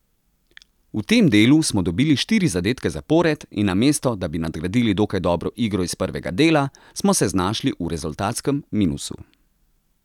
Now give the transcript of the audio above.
V tem delu smo dobili štiri zadetke zapored, in namesto da bi nadgradili dokaj dobro igro iz prvega dela, smo se znašli v rezultatskem minusu.